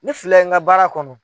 Ne filɛ in ka baara kɔnɔ.